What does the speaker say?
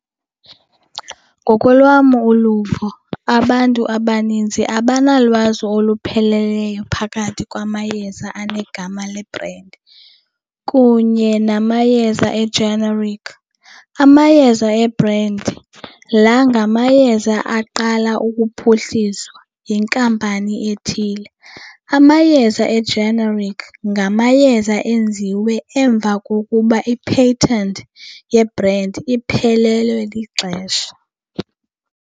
Ngokolwam uluvo, abantu abaninzi abanalwazi olupheleleyo phakathi kwamayeza anegama lebhrendi kunye namayeza e-generic. Amayeza ebrendi laa ngamayeza aqala ukuphuhliswa yinkampani ethile, amayeza ejenerikhi ngamayeza enziwe emva kokuba i-patent yebrendi iphelelwe lixesha.